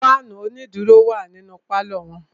Fáànù onídùró wà nínú pálọ̀ wọn.